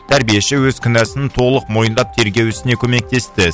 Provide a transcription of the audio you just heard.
тәрбиеші өз кінәсін толық мойындап тергеу ісіне көмектесті